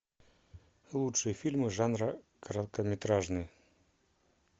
лучшие фильмы жанра короткометражный